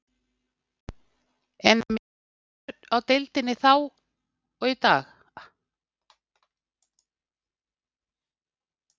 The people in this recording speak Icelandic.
En er mikill munur á deildinni í dag og þá?